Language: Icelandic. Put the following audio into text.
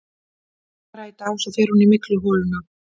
En bara í dag, svo fer hún í mygluholuna.